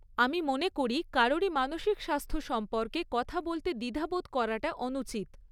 আমি মনে করি কারোরই মানসিক স্বাস্থ্য সম্পর্কে কথা বলতে দ্বিধা বোধ করাটা অনুচিত।